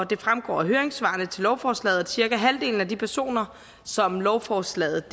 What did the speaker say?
det fremgår af høringssvarene til lovforslaget at cirka halvdelen af de personer som lovforslaget